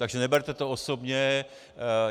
Takže neberte to osobně.